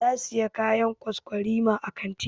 Ta Siya kayan kwaskwarima a kantin.